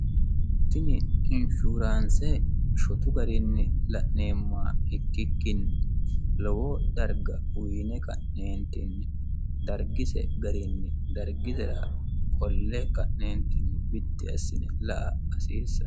tini infuuraanse shotu gariinni la'neemmoha ikkikkinni lowo darga uyine ka'neentinni dargise gariinni dargisira qolle ka'neentinni biddi assine la"a hasiissanno